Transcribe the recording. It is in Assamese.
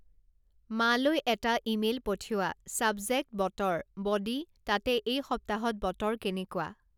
মালৈ এটা ইমেইল পঠিওৱা চাব্জেক্ট বতৰ ব'ডি তাতে এই সপ্তাহত বতৰ কেনেকুৱা